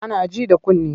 Ana ji da kunne.